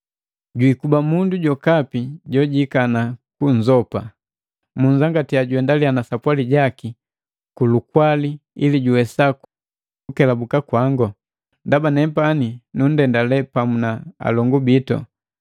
Jwikuba mundu jokapi jojikana kunzopa. Munzangatiya juendaliya na sapwali jaki kulukwali ili juwesa kukelabuka kwango, ndaba nepani nundendale pamu na alongu bitu.